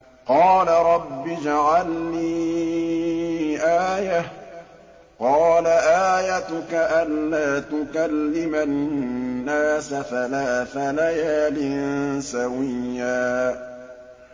قَالَ رَبِّ اجْعَل لِّي آيَةً ۚ قَالَ آيَتُكَ أَلَّا تُكَلِّمَ النَّاسَ ثَلَاثَ لَيَالٍ سَوِيًّا